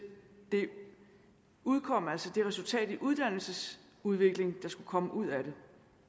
det resultat i uddannelsesudvikling der skulle komme ud af det